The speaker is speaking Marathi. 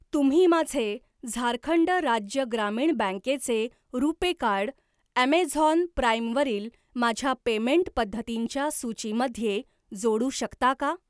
तुम्ही माझे झारखंड राज्य ग्रामीण बँकेचे रुपे कार्ड, ऍमेझॉन प्राइम वरील माझ्या पेमेंट पद्धतींच्या सूचीमध्ये जोडू शकता का?